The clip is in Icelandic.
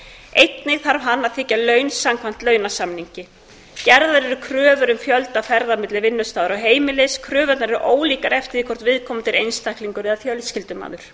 einnig þarf hann að þiggja laun samkvæmt launasamningi gerðar eru kröfur um fjölda ferða milli vinnustaðar og heimilis kröfurnar eru ólíkar eftir því hvort viðkomandi er einstaklingur eða fjölskyldumaður